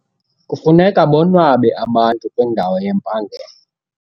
Kufuneka bonwabe abantu kwindawo yempangelo.